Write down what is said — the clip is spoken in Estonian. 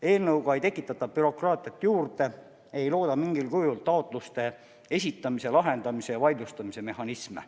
Eelnõuga ei tekitata bürokraatiat juurde, ei looda mingil kujul taotluste esitamise, lahendamise ja vaidlustamise mehhanisme.